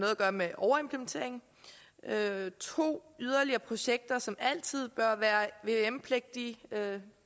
at gøre med overimplementering 2 yderligere projekter som altid bør være vvm pligtige